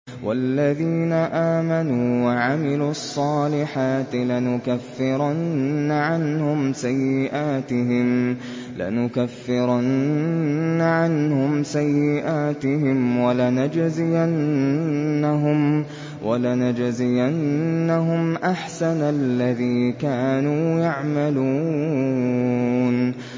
وَالَّذِينَ آمَنُوا وَعَمِلُوا الصَّالِحَاتِ لَنُكَفِّرَنَّ عَنْهُمْ سَيِّئَاتِهِمْ وَلَنَجْزِيَنَّهُمْ أَحْسَنَ الَّذِي كَانُوا يَعْمَلُونَ